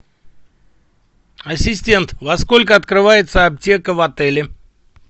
ассистент во сколько открывается аптека в отеле